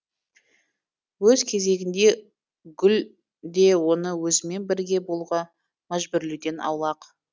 өз кезегінде гүл де оны өзімен бірге болуға мәжбүрлеуден аулақ